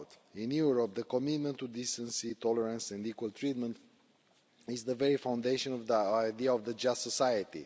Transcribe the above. In Europe, the commitment to decency, tolerance and equal treatment is the very foundation of the idea of a just society.